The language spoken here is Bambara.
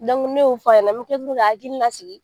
ne y'o fɔ a ɲɛ n bɛ tila tuguni k'a hakili lasigi